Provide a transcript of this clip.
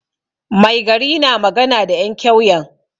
Mai gari na magana da 'yan kyauyen.